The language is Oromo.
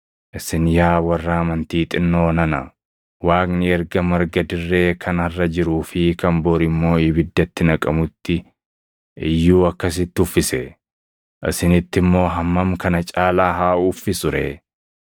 Isin yaa warra amantii xinnoo nana! Waaqni erga marga dirree kan harʼa jiruu fi kan bor immoo ibiddatti naqamutti iyyuu akkasitti uffisee, isinitti immoo hammam kana caalaa haa uffisuu ree.